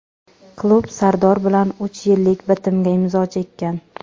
Klub Sardor bilan uch yillik bitimga imzo chekkan.